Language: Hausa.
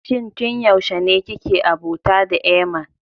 Shin tun yaushe ne kike abota da Eeman?